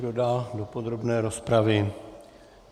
Kdo dál do podrobné rozpravy?